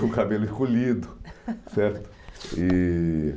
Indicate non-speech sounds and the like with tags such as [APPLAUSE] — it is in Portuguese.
Com o cabelo encolhido, [LAUGHS] certo? E